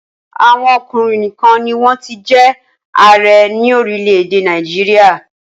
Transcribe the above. Àwọn ọkùnrin nìkan ni wọ́n ti jẹ́ ààrẹ ní orílẹ̀-èdè Nàìjíríà.